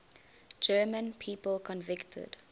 german people convicted